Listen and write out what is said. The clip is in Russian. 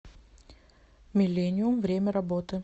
миллениум время работы